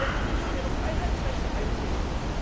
Sie werden auch nicht für ihre Freiheitsrechte eintreten.